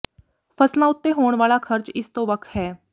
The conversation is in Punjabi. ਫ਼ਸਲਾਂ ਉੱਤੇ ਹੋਣ ਵਾਲਾ ਖਰਚ ਇਸ ਤੋਂ ਵੱਖ ਹੈ